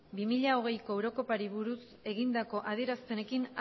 bi mila hogeiko eurokopari buruz egindako adierazpenekin